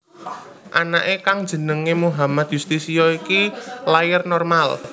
Anake kang jenéngé Muhammad Yustisio iki lair normal